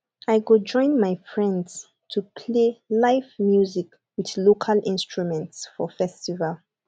i go join my friends to play live music with local instruments for festival